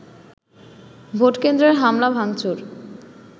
ভোটকেন্দ্রে হামলা ভাঙচুর